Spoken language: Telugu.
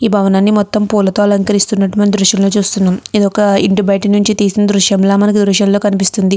ఈ భావనని మొత్తం పూలతో అలంకరిస్తున్నటుగ ఈ దృశ్యం చేస్తున్నాం. ఇది ఒక ఇంటి బయట నుంచి తీసిన దృశ్యంలా మనకు దృశ్యంలో కనిపిస్తుంది.